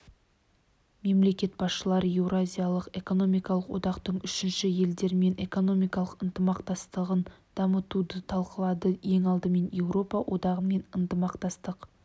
мемлекет басшылары еуразиялық экономикалық одақтың үшінші елдермен экономикалық ынтымақтастығын дамытуды талқылады ең алдымен еуропа одағымен ынтымақтастық